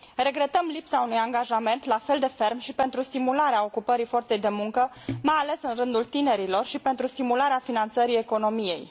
Regretăm lipsa unui angajament la fel de ferm și pentru stimularea ocupării forței de muncă mai ales în rândul tinerilor și pentru stimularea finanțării economiei.